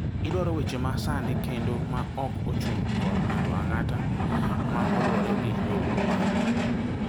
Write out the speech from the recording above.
Idwaro weche ma sani kendo ma ok ochung� kor ng�ato ang�ata ma luwore gi nonro ma.